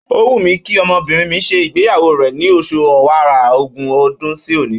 Ó wù mí kí ọmọbìnrin mi ṣe ìgbéyàwó rẹ̀ ni oṣù Ọ̀wàrà, ogún ọdún sí òní.